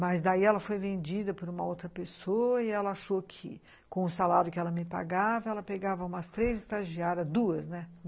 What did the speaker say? Mas daí ela foi vendida por uma outra pessoa e ela achou que, com o salário que ela me pagava, ela pegava umas três estagiárias, duas, né?